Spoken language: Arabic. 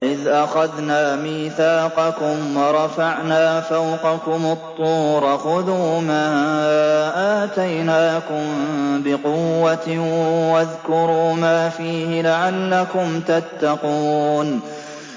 وَإِذْ أَخَذْنَا مِيثَاقَكُمْ وَرَفَعْنَا فَوْقَكُمُ الطُّورَ خُذُوا مَا آتَيْنَاكُم بِقُوَّةٍ وَاذْكُرُوا مَا فِيهِ لَعَلَّكُمْ تَتَّقُونَ